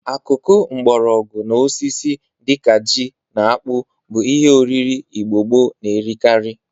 Akụkụ mgbọrọgwọ na osisi dị ka ji na akpụ bụ ihe oriri Igbo gboo na-erikari.